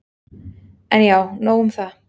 En já, nóg um það.